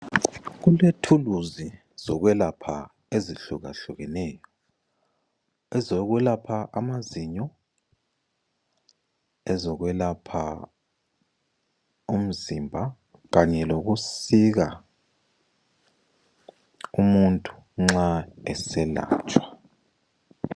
Kule thuluzi zokwelapha ezihlukahlukeneyo ezokulapha amazinyo lezo kwelapha umzimba kanye lokusika umuntu nxa eselatshwa.